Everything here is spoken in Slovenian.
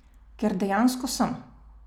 Ker dejansko sem.